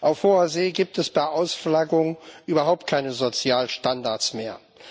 Auf Hoher See gibt es bei Ausflaggung überhaupt keine Sozialstandards mehr.